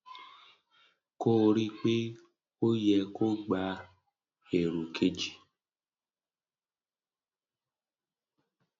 kò rí i pé ó yẹ kó gba èrò kejì